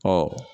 Ɔ